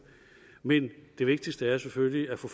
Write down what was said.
men det vigtigste er selvfølgelig at få